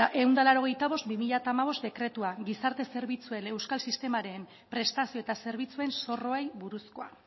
ehun eta laurogeita bost barra bi mila hamabost dekretua gizarte zerbitzuen euskal sistemaren prestazio eta zerbitzuen zorroei buruzkoa